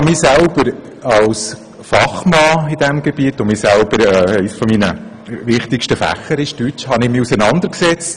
Als Fachmann in diesem Gebiet – eines meiner wichtigsten Fächer ist Deutsch – habe ich mich mit dieser Materie auseinandergesetzt.